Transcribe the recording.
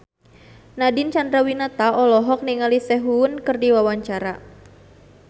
Nadine Chandrawinata olohok ningali Sehun keur diwawancara